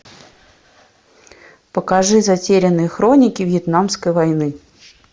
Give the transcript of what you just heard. покажи затерянные хроники вьетнамской войны